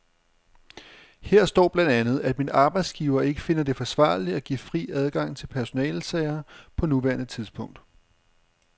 Her står blandt andet, at min arbejdsgiver ikke finder det forsvarligt at give fri adgang til personalesager på nuværende tidspunkt.